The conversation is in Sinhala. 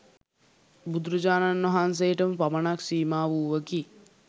බුදුරජාණන් වහන්සේටම පමණක් සීමා වූවකි.